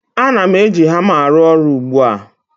Ana m eji hama arụ ọrụ ugbu a